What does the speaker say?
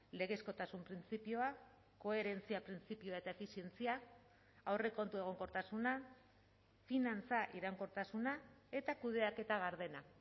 legezkotasun printzipioa koherentzia printzipioa eta efizientzia aurrekontu egonkortasuna finantza iraunkortasuna eta kudeaketa gardena